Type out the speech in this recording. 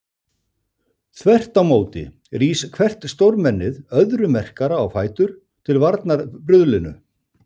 Þvert á móti rís hvert stórmennið öðru merkara á fætur til varnar bruðlinu.